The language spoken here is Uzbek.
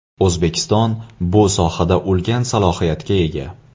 O‘zbekiston bu sohada ulkan salohiyatga ega.